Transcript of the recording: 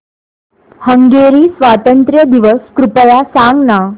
Hungary स्वातंत्र्य दिवस कृपया सांग ना